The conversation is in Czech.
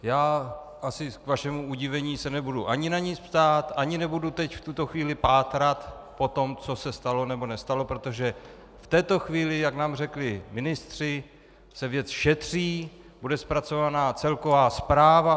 Já asi k vašemu udivení se nebudu ani na nic ptát, ani nebudu teď v tuto chvíli pátrat po tom, co se stalo nebo nestalo, protože v této chvíli, jak nám řekli ministři, se věc šetří, bude zpracována celková zpráva.